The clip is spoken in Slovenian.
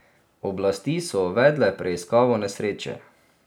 Oblasti so uvedle preiskavo nesreče.